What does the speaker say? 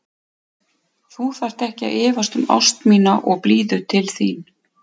Þú þarft ekki að efast um ást mína og blíðu til þín.